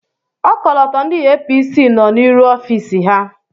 Ọkọlọtọ ndị APC nọ n'iru ọfiisi ha.